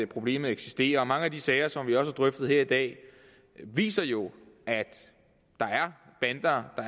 problemet eksisterer mange af de sager som vi også har drøftet her i dag viser jo at der er bander at